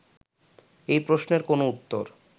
এই প্রশ্নের কোনো উত্তর